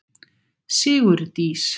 Sigurdís